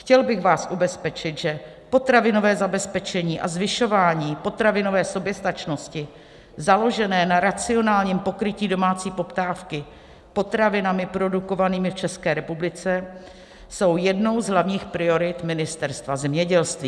Chtěl bych vás ubezpečit, že potravinové zabezpečení a zvyšování potravinové soběstačnosti založené na racionálním pokrytí domácí poptávky potravinami produkovanými v České republice jsou jednou z hlavních priorit Ministerstva zemědělství.